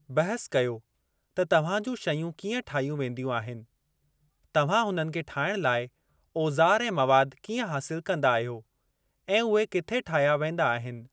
बहसु कयो त तव्हां जूं शयूं कीअं ठाहियूं वेंदियूं आहिनि, तव्हां हुननि खे ठाहिण लाइ ओज़ार ऐं मवाद कीअं हासिल कंदा आहियो, ऐं उहे किथे ठाहिया वेंदा आहिनि।